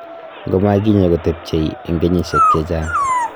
ngomakinya koteebchey eng kenyisheek che chnag